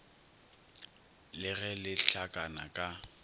le ge le hlakana ka